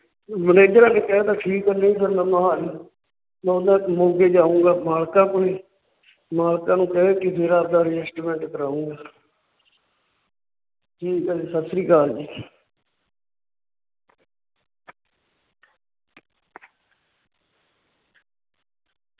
Manager ਅੱਗੇ ਕਹਿ ਤਾ ਠੀਕ ਹੈ। ਨਹੀਂ ਫਿਰ ਮੈਂ ਮੋਹਾਲੀ ਮੋਗੇ ਜਾਊਂਗਾ ਮਾਲਕਾਂ ਕੋਲੇ। ਮਾਲਕਾਂ ਨੂੰ ਕਹਿ ਕੇ ਫਿਰ ਆਪਦਾ Adjustment ਕਰਾਊਂਗਾ। ਠੀਕ ਹੈ ਜੀ, ਸਤਿ ਸ਼੍ਰੀ ਅਕਾਲ ਜੀ।